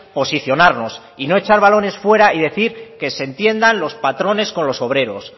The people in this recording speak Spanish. posicionarnos y no echar balones fuera y decir que se entiendan los patrones con los obreros